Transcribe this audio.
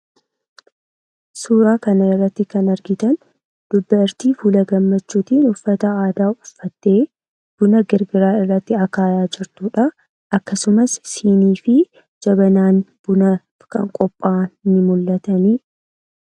Suuraa kanarratti kan argitan dubartii fuula gammachuutiin uffata aadaa uffattee buna akaayaa jirtudha. Akkasumas siinii fi jabanaan bunaa ni qophaayan